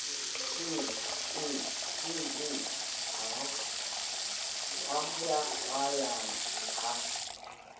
hlileng e o hwayahwayang ha